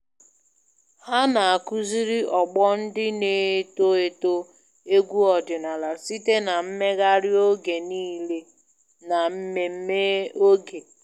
Ha na-akuziri ọgbọ ndị na-eto eto egwu ọdịnala site na mmeghari oge niile na mmemme oge